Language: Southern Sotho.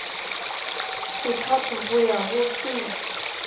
sethatho ho ya ho se